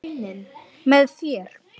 Með þér.